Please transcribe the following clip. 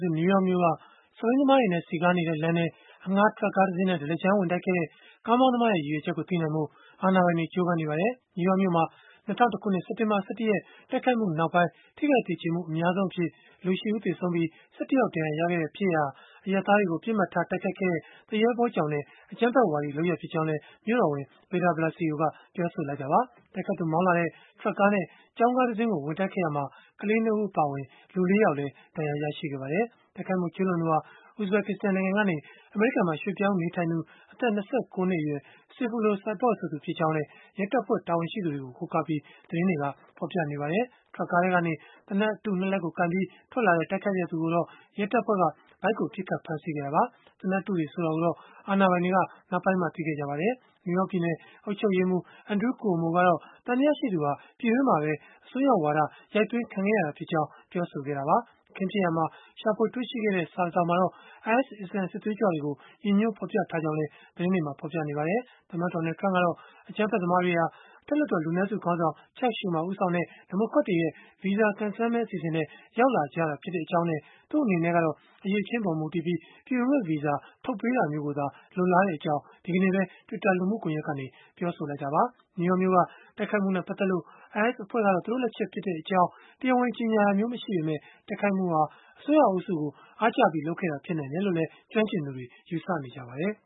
စု နယူးယောက်မြို့က စက်ဘီးသမားတွေနဲ့ စည်ကားနေတဲ့လမ်းထဲ အငှားထရပ်ကားတစင်းနဲ့ ဒလကြမ်း ဝင်တိုက်ခဲ့တဲ့ ကားမောင်းသမားရဲ့ ရည်ရွယ်ချက်ကို သိနိုင်ဖို့ အာဏာပိုင်တွေ ကြိုးပမ်းနေပါတယ်။ နယူးယောက်မြို့မှာ ၂၀၀၁ ခုနှစ်၊ စက်တင်ဘာ ၁၁ ရက် တိုက်ခိုက်မှုနောက်ပိုင်း ထိခိုက်သေကျေမှု အများဆုံးအဖြစ်၊ လူ ၈ ဦး သေဆုံးပြီး၊ ၁၁ ယောက် ဒဏ်ရာရခဲ့တဲ့ ဖြစ်ရပ်ဟာ အရပ်သားတွေကို ပစ်မှတ်ထားတိုက်ခိုက်ခဲ့တဲ့၊ သူရဲဘောကြောင်တဲ့ အကြမ်းဖက်ဝါဒီလုပ်ရပ်ဖြစ်ကြောင်းလည်း မြို့တော်ဝန် Bill de Blasio က ပြောဆိုခဲ့တာပါ။ တိုက်ခိုက်သူ မောင်းလာတဲ့ ထရပ်ကားနဲ့ ကျောင်းကားတစင်းကို ဝင်တိုက်ခဲ့ရာမှာ ကလေး ၂ ဦး အပါအဝင် လူ ၄ ယောက်လည်း ဒဏ်ရာရခဲ့ပါတယ်။ တိုက်ခိုက်မှု ကျုးလွန်သူဟာ Uzbekistan နိုင်ငံကနေ အမေရိကန်မှာ ရွှေ့ပြောင်းနေထိုင်နေသူ အသက် ၂၉ နှစ်အရွယ် Sayfullo Saipov ဆိုသူ ဖြစ်ကြောင်းလည်း ရဲတပ်ဖွဲ့ တာဝန်ရှိသူတွေကို ကိုးကားပြီး၊ သတင်းတွေက ဖော်ပြနေကြပါတယ်။ ထရပ်ကားထဲကနေ သေနတ်အတု ၂ လက်ကို ကိုင်ပြီး ထွက်လာတဲ့ တိုက်ခိုက်သူကိုတော့ ရဲတပ်ဖွဲ့က ဗိုက်ကို ပစ်ခတ်ဖမ်းဆီးခဲ့တာပါ။ သေနတ်အတုတွေ ဆိုတာကိုတော့ အာဏာပိုင်တွေက နောက်ပိုင်းမှ သိခဲ့ကြပါတယ်။ နယူးယောက် ပြည်နယ် အုပ်ချုပ်ရေးမှူး Andrew Cuomo ကတော့ သံသယရှိသူဟာ ပြည်တွင်းမှာပဲ အစွန်းရောက်ဝါဒ ရိုက်သွင်းခံခဲ့ရတာဖြစ်ကြောင်း ပြောဆိုခဲ့တာပါ။ အခင်းဖြစ်ရာမှာ ရှာဖွေတွေ့ရှိခဲ့တဲ့ စာတစောင်မှာတော့ IS အစ္စလာမ်စစ်သွေးကြွတွေကို ရည်ညွှန်းဖော်ပြထားကြောင်း သတင်းတွက ဖော်ပြကြပါတယ်။ သမ္မတ Donald Trump ကတော့ အကြမ်းဖက်သမားတွေဟာ အထက်လွှတ်တော် လူနည်းစုခေါင်းဆောင် Chuck Schumer ဦးဆောင်တဲ့ ဒီမိုကရက်တွေရဲ့ ဗီဇာကံစမ်းမဲ အစီအစဉ်နဲ့ ရောက်လာကြတာဖြစ်ကြောင်းနဲ့ သူ့အနေနဲ့ကတော့ အရည်အချင်းအပေါ် မူတည်ပြီး ပြည်ဝင်ခွင့်ဗီဇာထုတ်ပေးတာမျိုးကိုသာ လိုလားကြောင်း ဒီကနေ့ပဲ Twitter လူမှုကွန်ယက်ကနေ ပြောဆိုခဲ့တာပါ။ နယူးယောက်မြို့က တိုက်ခိုက်မှုနဲ့ ပတ်သက်လို့ IS အဖွဲ့က သူတို့လက်ချက်ဖြစ်ကြောင်း တရားဝင်ကြေညာတာမျိုး မရှိပေမဲ့၊ တိုက်ခိုက်မှုဟာ အစွန်းရောက်အုပ်စုကို အားကျပြီး လုပ်ခဲ့တာ ဖြစ်နိုင်တယ်လို့လည်း ကျွမ်းကျင်သူတွေ ယူဆနေကြပါတယ်